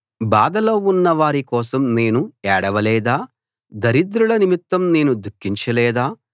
బాధలో ఉన్న వారి కోసం నేను ఏడవ లేదా దరిద్రుల నిమిత్తం నేను దుఖించ లేదా